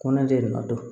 Ko ne de ma dɔn